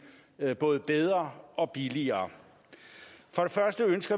både bedre og billigere